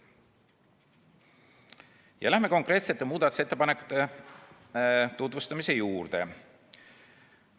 Lähen nüüd konkreetsete muudatusettepanekute juurde.